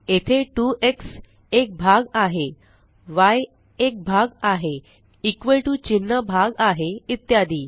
येथे 2एक्स एक भाग आहे य एक भाग आहे इक्वॉल टीओ चिन्ह भाग आहे इत्यादी